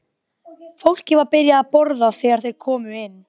Fólkið var byrjað að borða þegar þeir komu inn.